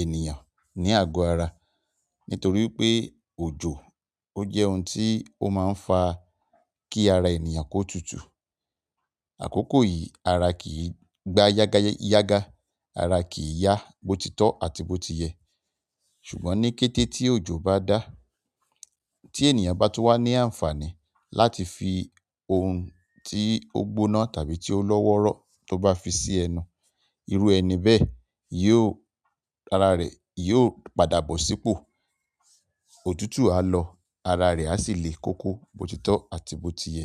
ènìyàn ní àgọ́ ara. Nítorí pé òjò ó jẹ́ ohun tí ó máa ń fa kí ara ènìyàn kó tutù. Àkókò yìí ara kì í gba yágá, ara kì í yá botitọ́ àti botiye. Ṣùgbọ́n ní kété tí òjò bá dá, tí ènìyàn bá tó wà ní àǹfààní láti fi ohun tí ó gbóná tàbí tí ó lọ́wọ́rọ́ tó bá fi sí ẹnu, irú ẹni bẹ́ẹ̀ yóò, ara rẹ̀ yóò padà bọ̀ sí pò. Òtútù á lọ, ara rẹ̀ a sì le koko botitọ́ àti botiye.